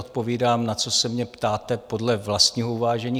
Odpovídám, na co se mě ptáte, podle vlastního uvážení.